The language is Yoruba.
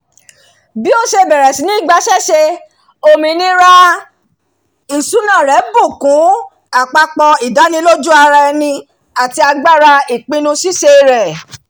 bí ó ṣe bẹ̀rẹ̀ sí ní gbaṣẹ́ṣe òmìnira ìṣúná rẹ̀ bù kún àpapọ̀ ìdánilójú-ara ẹni àti agbára ìpinnu ṣíṣe rẹ̀